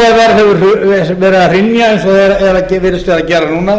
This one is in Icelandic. íbúðaverð hefur verið að hrynja eins og það virðist vera að gera núna